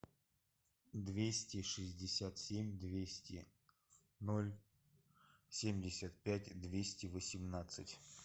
двести шестьдесят семь двести ноль семьдесят пять двести восемнадцать